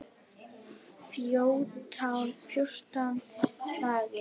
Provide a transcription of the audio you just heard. Fjórtán slagir.